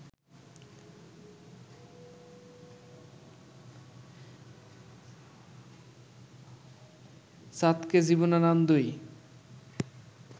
চাঁদকে জীবনানন্দই